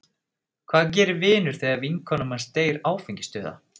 Hvað gerir vinur þegar vinkona manns deyr áfengisdauða??